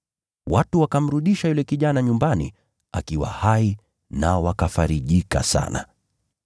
Watu wakamrudisha yule kijana nyumbani akiwa hai nao wakafarijika sana.